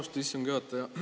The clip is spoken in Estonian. Austatud istungi juhataja!